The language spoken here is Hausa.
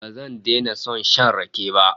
Ba zan daina son shan rake ba